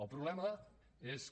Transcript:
el problema és que